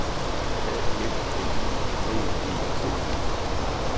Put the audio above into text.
A F L I V E T